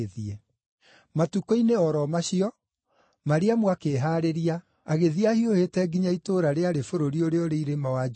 Matukũ-inĩ o ro macio, Mariamu akĩĩhaarĩria, agĩthiĩ ahiũhĩte nginya itũũra rĩarĩ bũrũri ũrĩa ũrĩ irĩma wa Judea,